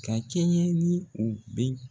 Ka kɛɲɛ ni u bɛn